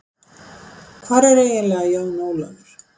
Hvar er ég eiginlega, Jón Ólafur?